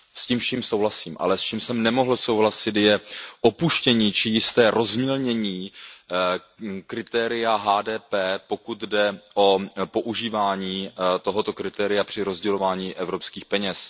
S tím vším souhlasím, ale s čím jsem nemohl souhlasit, je opuštění či jisté rozmělnění kritéria HDP, pokud jde o používání tohoto kritéria při rozdělování evropských peněz.